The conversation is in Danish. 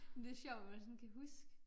Det sjovt man sådan kan huske